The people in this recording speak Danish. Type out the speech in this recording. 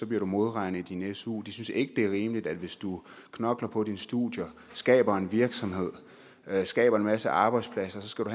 bliver du modregnet i din su de synes ikke det er rimeligt at hvis du knokler på dine studier skaber en virksomhed skaber en masse arbejdspladser så skal du